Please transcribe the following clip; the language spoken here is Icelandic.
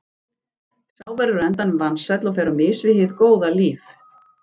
Sá verður á endanum vansæll og fer á mis við hið góða líf.